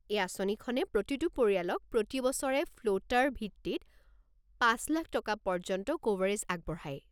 এই আঁচনিখনে প্ৰতিটো পৰিয়ালক প্ৰতি বছৰে ফ্লোটাৰ ভিত্তিত ৫,০০,০০০ টকা পৰ্য্যন্ত ক'ভাৰেজ আগবঢ়ায়।